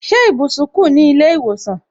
Ṣé ibùsùn kù ní ilé ìwòsàn